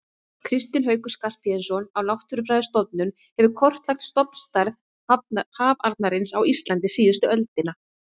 Kristinn Haukur Skarphéðinsson á Náttúrufræðistofnun hefur kortlagt stofnstærð hafarnarins á Íslandi síðustu öldina.